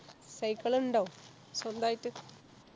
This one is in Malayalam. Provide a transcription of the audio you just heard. Cycle ഇണ്ടോ സ്വന്തായിട്ട്